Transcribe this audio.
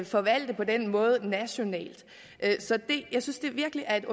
forvalte på den måde nationalt så jeg synes virkelig at det